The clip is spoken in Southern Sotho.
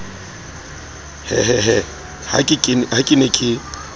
hehehe ha ke ne ke